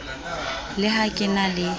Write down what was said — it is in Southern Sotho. le ha ke na le